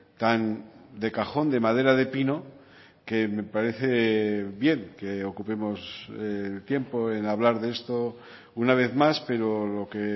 tan de cajón de madera de pino que me parece bien que ocupemos el tiempo en hablar de esto una vez más pero lo que